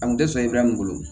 A kun tɛ sɔn i bɛ min bolo